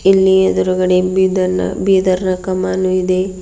ಇಲ್ಲಿ ಎದುರುಗಡೆ ಬಿದರ್ ನ ಬೀದರ್ನ ಕಮಾನು ಇದೆ.